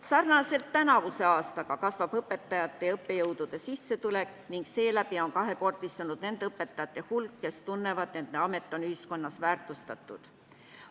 Sarnaselt tänavuse aastaga kasvab õpetajate ja õppejõudude sissetulek ning seeläbi on kahekordistunud nende õpetajate hulk, kes tunnevad, et nende amet on ühiskonnas väärtustatud.